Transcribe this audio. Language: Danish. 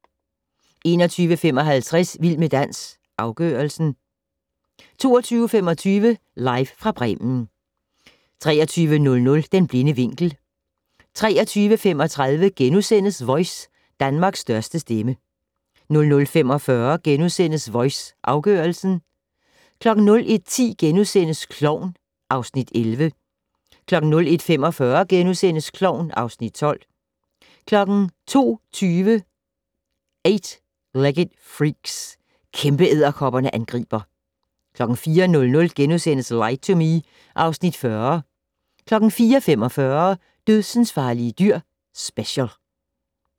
21:55: Vild med dans - afgørelsen 22:25: Live fra Bremen 23:00: Den blinde vinkel 23:35: Voice - Danmarks største stemme * 00:45: Voice - afgørelsen * 01:10: Klovn (Afs. 11)* 01:45: Klovn (Afs. 12)* 02:20: Eight Legged Freaks - kæmpeedderkopperne angriber 04:00: Lie to Me (Afs. 40)* 04:45: Dødsensfarlige dyr - special